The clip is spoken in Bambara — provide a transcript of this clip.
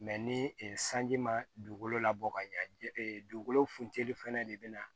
ni sanji ma dugukolo labɔ ka ɲa dugukolo funtɛni fɛnɛ de bɛ na